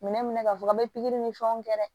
Minɛ minɛ k'a fɔ k'a bɛ ni fɛnw kɛ dɛ